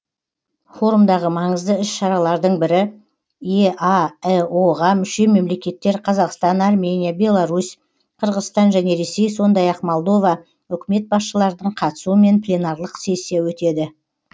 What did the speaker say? форумдағы маңызды іс шаралардың бірі еаэо ға мүше мемлекеттер қазақстан армения беларусь қырғызстан және ресей сондай ақ молдова үкімет басшыларының қатысуымен пленарлық сессия өтеді